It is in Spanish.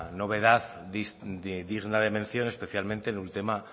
novedad digna de mención especialmente en un tema